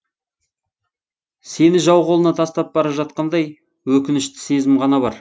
сені жау қолына тастап бара жатқандай өкінішті сезім ғана бар